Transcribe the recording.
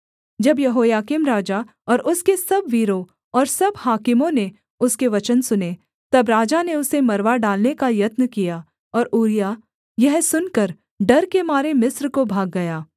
जब यहोयाकीम राजा और उसके सब वीरों और सब हाकिमों ने उसके वचन सुने तब राजा ने उसे मरवा डालने का यत्न किया और ऊरिय्याह यह सुनकर डर के मारे मिस्र को भाग गया